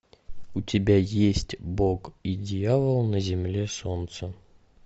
у тебя есть бог и дьявол на земле солнца